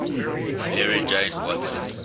mary jane watson